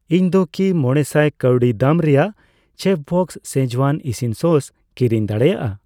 ᱤᱧ ᱠᱤ ᱢᱚᱲᱮᱥᱟᱭ ᱠᱟᱣᱰᱤᱫᱟᱢ ᱨᱮᱭᱟᱜ ᱪᱮᱯᱷᱵᱚᱥᱥ ᱥᱠᱤᱡᱣᱟᱱ ᱤᱥᱤᱱ ᱥᱚᱥ ᱠᱤᱨᱤᱧ ᱫᱟᱲᱮᱭᱟᱜᱼᱟ ?